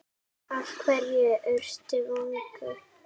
Af hverju ertu vongóð?